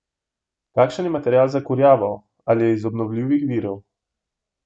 Kakšen je material za kurjavo, ali je iz obnovljivih virov?